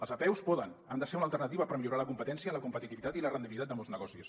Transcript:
les apeus poden han de ser una alternativa per millorar la competència la competitivitat i la rendibilitat de molts negocis